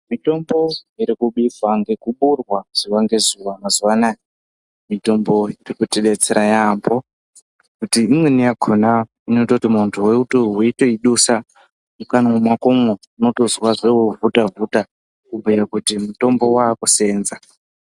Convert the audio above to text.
Mitombo iri kubiswa nekuboorwa zuva ngezuva mazuva anaya mitombo irikuti betsera yambo kuti imweni yakona inotoita kuti munduwo weitoidusa mukanwa mwako umwo unotozwa zvohuta huta kubhuya kuti mutombo waakuseenza.